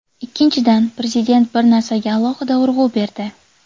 Ikkinchidan, Prezident bir narsaga alohida urg‘u berdi.